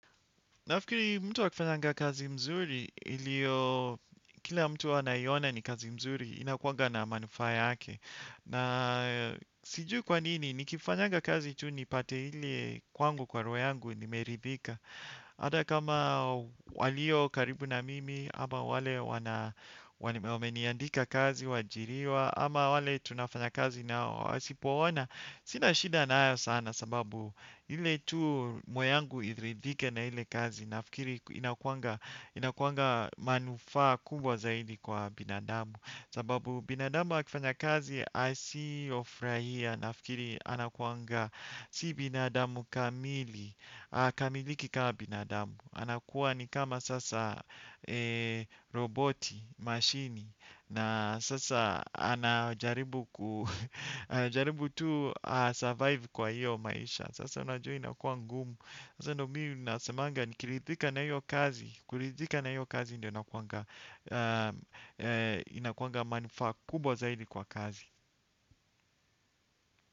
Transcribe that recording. Nafikiri mtu akifanyanga kazi mzuri ilio kila mtu huwa anaiona ni kazi mzuri inakuanga na manufaa yake. Na sijui kwa nini nikifanyanga kazi tu nipate ile kwangu kwa roho yangu nimeridhika. Hata kama walio karibu na mimi, ama wale wana, wameniandika kazi, waajiriwa, ama wale tunafanya kazi nao wasipoona, sina shida nayo sana kwa sababu ili tu moyo wangu uridhike na ile kazi, nafikiri inakuwanga manufaa kubwa zaidi kwa binadamu. Sababu binadamu akifanya kazi asiyofurahia nafikiri anakuwanga si binadamu kamili. Hakamiliki kama binadamu. Anakuwa ni kama sasa roboti, mashine na sasa anajaribu tu kujiokoa kwa hiyo maisha. Sasa unajua inakua ngumu. Sasa ndiyo mimi nasemanga nikiridhika na hiyo kazi, kuridhika na hiyo kazi ndiyo nakuwanga inakuanga manufaa kubwa zaidi kwa kazi.